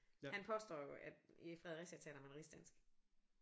Han påstår jo at i Fredericia taler man rigsdansk